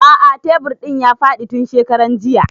A'a tebur ɗin ya faɗi tun shekaran jiya